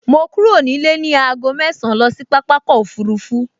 Mo kúrò nílé ní aago mẹ́ẹ̀sán lọ sí pápákọ̀ òfurufú